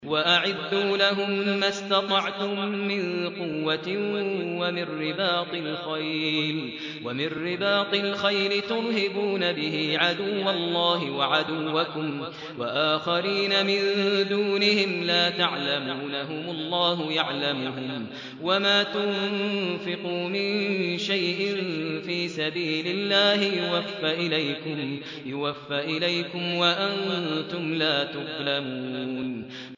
وَأَعِدُّوا لَهُم مَّا اسْتَطَعْتُم مِّن قُوَّةٍ وَمِن رِّبَاطِ الْخَيْلِ تُرْهِبُونَ بِهِ عَدُوَّ اللَّهِ وَعَدُوَّكُمْ وَآخَرِينَ مِن دُونِهِمْ لَا تَعْلَمُونَهُمُ اللَّهُ يَعْلَمُهُمْ ۚ وَمَا تُنفِقُوا مِن شَيْءٍ فِي سَبِيلِ اللَّهِ يُوَفَّ إِلَيْكُمْ وَأَنتُمْ لَا تُظْلَمُونَ